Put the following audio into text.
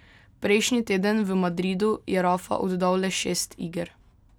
Prejšnji teden v Madridu je Rafa oddal le šest iger.